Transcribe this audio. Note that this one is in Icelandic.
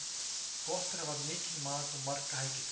Gott er að hafa mikinn mat og marga helgidaga.